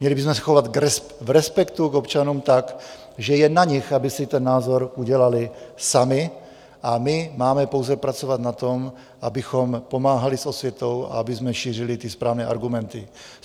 Měli bychom se chovat v respektu k občanům tak, že je na nich, aby si ten názor udělali sami, a my máme pouze pracovat na tom, abychom pomáhali s osvětou a abychom šířili ty správné argumenty.